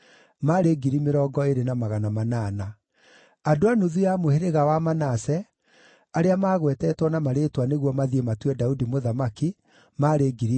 andũ a nuthu ya mũhĩrĩga wa Manase, arĩa maagwetetwo na marĩĩtwa nĩguo mathiĩ matue Daudi mũthamaki, maarĩ 18,000;